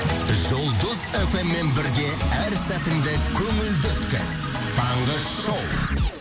жұлдыз фм мен бірге әр сәтіңді көңілді өткіз таңғы шоу